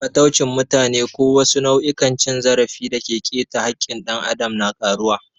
Fataucin mutane ko wasu nau'ikan cin zarafi da ke keta haƙƙin ɗan adam na karuwa.